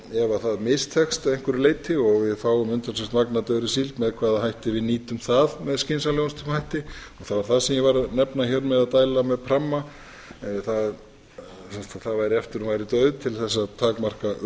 ef það mistekst að einhverju leyti og við fáum umtalsvert magn af dauðri síld með hvaða hætti við nýtum það með skynsamlegustum hætti það var það sem ég var að nefna hér með að dæla með pramma það væri eftir að hún væri dauð til þess að takmarka